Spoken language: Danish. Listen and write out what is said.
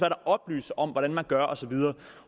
at oplyse om hvordan de gør og så videre